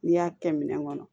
N'i y'a kɛ minɛn kɔnɔ